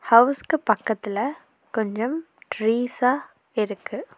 ஹவுஸ்க்கு பக்கத்துல கொஞ்சம் ட்ரீஸ்சா இருக்கு.